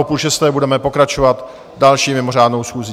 O půl šesté budeme pokračovat další mimořádnou schůzí.